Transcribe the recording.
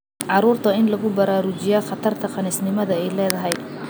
Carruurta waa in lagu baraarujiyaa khatarta khaniisnimada ay ledahy.